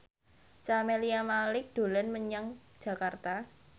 Camelia Malik dolan menyang Jakarta